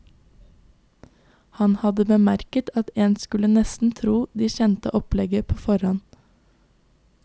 Han hadde bemerket at en skulle nesten tro de kjente opplegget på forhånd.